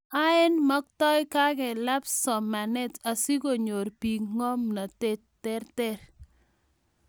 Aeng', maktoi kekalab somanet asikonyor bik ngomnatet terter